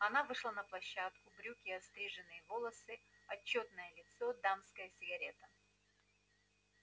она вышла на площадку брюки остриженные волосы отчётное лицо дамская сигарета